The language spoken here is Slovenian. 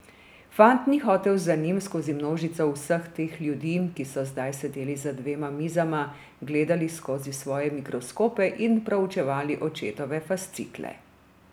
Fant ni hotel za njim skozi množico vseh teh ljudi, ki so zdaj sedeli za dvema mizama, gledali skozi svoje mikroskope in proučevali očetove fascikle.